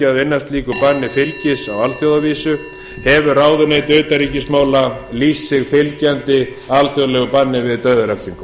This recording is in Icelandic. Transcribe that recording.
að vinna slíku banni fylgis á alþjóðavísu hefur ráðuneytið lýst sig fylgjandi slíku banni